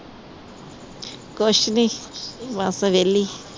ਕੁਝ ਨੀ ਬੱਸ ਵੇਹਲੀ